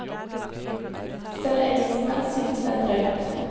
Selv engelskmenn synes det er drøyt.